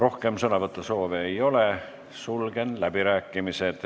Rohkem sõnavõtusoove ei ole, sulgen läbirääkimised.